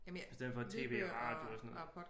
I stedet for et TV og radio og sådan noget